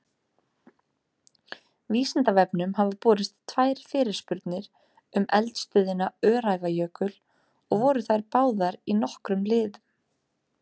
Vísindavefnum hafa borist tvær fyrirspurnir um eldstöðina Öræfajökul og voru þær báðar í nokkrum liðum.